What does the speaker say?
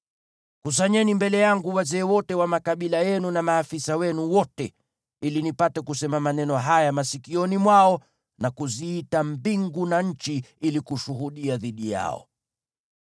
Kusanyeni mbele yangu wazee wote wa makabila yenu na maafisa wenu wote, ili nipate kusema maneno haya masikioni mwao na kuziita mbingu na nchi ili kushuhudia dhidi yao.